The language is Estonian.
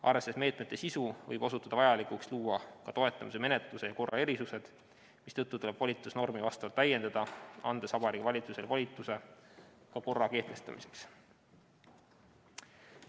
Arvestades meetmete sisu, võib osutuda vajalikuks luua ka toetamise menetluse ja korra erisused, mistõttu tuleb volitusnormi vastavalt täiendada, andes Vabariigi Valitsusele volituse ka korra kehtestamiseks.